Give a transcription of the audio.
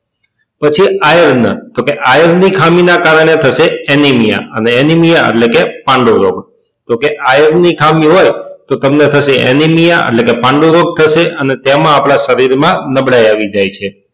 પછી iron તો કે iron ની ખામી ના કારણે થશે anaemia અને anaemia એટલે કે પાંડુ રોગ તો કે iron ની ખામી હોય તો તમને થશે anaemia એટલે કે પાંડુ રોગ થશે અને તેમાં આપડા શરીર માં નબળાઈ આવી જશે